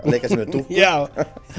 leika sér með dúkkur já